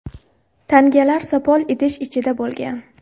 Tangalar sopol idish ichida bo‘lgan.